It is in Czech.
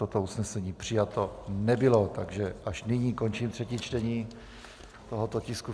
Toto usnesení přijato nebylo, takže až nyní končím třetí čtení tohoto tisku.